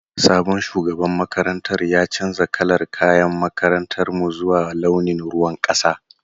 Sabon shugaban makarantar ya canza kalar kayan makarantar mu zuwa launin ruwan kasa.